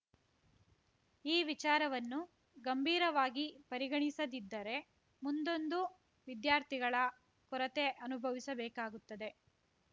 ಈ ವಿಚಾರವನ್ನು ಗಂಭೀರವಾಗಿ ಪರಿಗಣಿಸದಿದ್ದರೆ ಮುಂದೊಂದು ವಿದ್ಯಾರ್ಥಿಗಳ ಕೊರತೆ ಅನುಭವಿಸಬೇಕಾಗುತ್ತದೆ